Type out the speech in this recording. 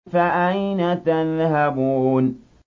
فَأَيْنَ تَذْهَبُونَ